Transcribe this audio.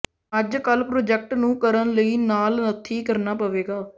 ਅੱਜਕੱਲ੍ਹ ਪ੍ਰਾਜੈਕਟ ਨੂੰ ਕਰਨ ਲਈ ਨਾਲ ਨੱਥੀ ਕਰਨਾ ਪਵੇਗਾ